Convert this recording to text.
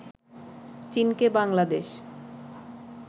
চীনকে বাংলাদেশ